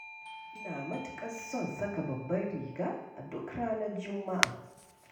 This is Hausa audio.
Ina matuƙar son saka babbar riga a duk ranar Juma'a.